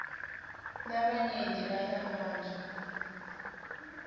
labanyenti balabantfu